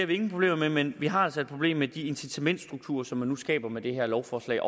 vi ingen problemer med men vi har altså et problem med de incitamentsstrukturer som man nu skaber med det her lovforslag